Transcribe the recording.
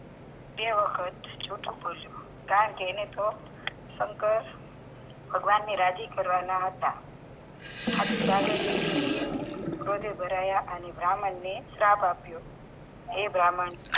બે વખત જુઠ્ઠું બોલ્યો કારણકે એને થોડોક શંકર ભગવાનને રાજી કરવાના હતા આથી પાર્વતીજીએ ભરાયા અને બ્રાહ્મણ ને શ્રાપ આપ્યો એ બ્રાહ્મણ